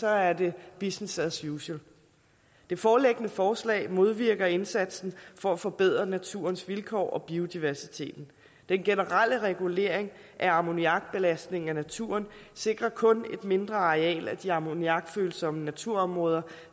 er det business as usual det foreliggende forslag modvirker indsatsen for at forbedre naturens vilkår og biodiversiteten den generelle regulering af ammoniakbelastningen af naturen sikrer kun et mindre areal af de ammoniakfølsomme naturområder